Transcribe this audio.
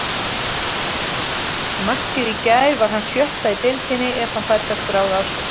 Markið í gær var hans sjötta í deildinni ef hann fær það skráð á sig.